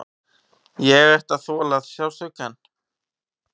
Ég ætti að þola sársaukann.